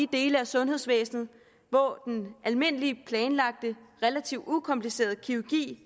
dele af sundhedsvæsenet hvor den almindelige planlagte og relativt ukomplicerede kirurgi